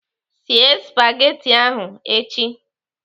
Sie spagati ahụ echi!